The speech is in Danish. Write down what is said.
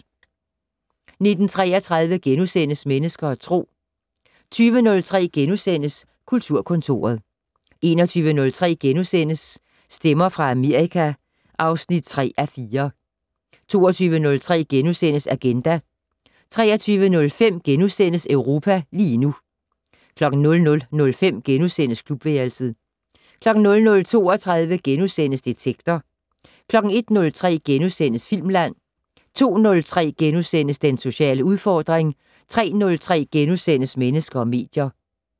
19:33: Mennesker og Tro * 20:03: Kulturkontoret * 21:03: Stemmer fra Amerika (3:4)* 22:03: Agenda * 23:05: Europa lige nu * 00:05: Klubværelset * 00:32: Detektor * 01:03: Filmland * 02:03: Den sociale udfordring * 03:03: Mennesker og medier *